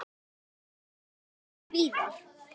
Hann finnst þó víðar.